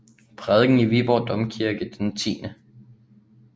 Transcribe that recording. Prædiken i Viborg Domkirke den 10